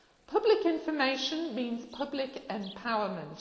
Public information means public empowerment.